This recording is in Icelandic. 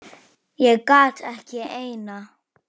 Ég gat ekki eina.